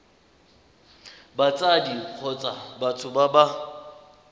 batsadi kgotsa batho ba ba